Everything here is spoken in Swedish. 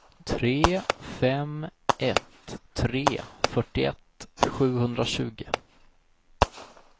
tre fem ett tre fyrtioett sjuhundratjugo